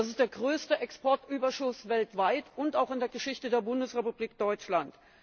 Das ist der größte Exportüberschuss weltweit und auch in der Geschichte der Bundesrepublik Deutschland.